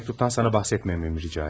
Ve mektuptan sana bahsetmememi rica etti.